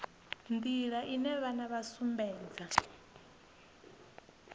nḓila ine vhana vha sumbedza